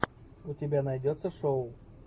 у тебя найдется шоу